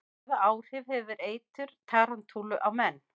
Hvaða áhrif hefur eitur tarantúlu á menn?